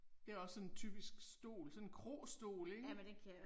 Det er også sådan en typisk stol, sådan en krostol ikke